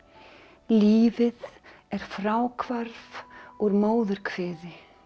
lífið er fráhvarf úr móðurkviði